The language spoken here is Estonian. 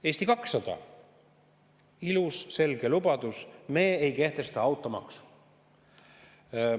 Eesti 200, teil on ilus selge lubadus: me ei kehtesta automaksu.